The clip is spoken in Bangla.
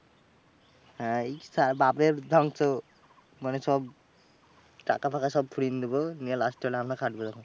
হ্যাঁ এই বাপের ধ্বংস, মানে সব টাকা ফাকা সব ফুরিয়েন দেবো। নিয়ে last চল আমরা থাকবো তখন।